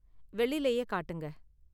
வெள்ளிலயே காட்டுங்க.